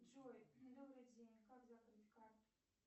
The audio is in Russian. джой добрый день как закрыть карту